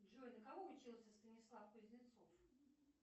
джой на кого учился станислав кузнецов